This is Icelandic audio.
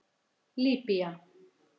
Líbýa